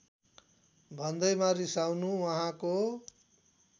भन्दैमा रिसाउनु उहाँको